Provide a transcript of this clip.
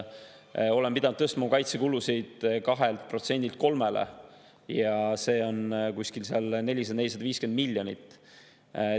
Oleme pidanud tõstma kaitsekulusid 2%‑lt 3%‑le ja see on kuskil 400–450 miljonit.